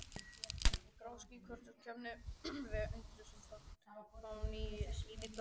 Grá ský og svört kepptust við að undirstrika fánýti daganna.